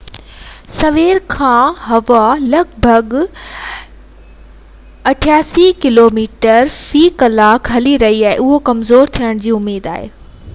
اڄ سوير کان ھوا لڳ ڀڳ 83 ڪلوميٽر في ڪلاڪ هلي رئي هئي ۽ اهو ڪمزور ٿيڻ جي اميد هئي